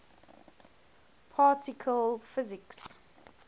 particle physics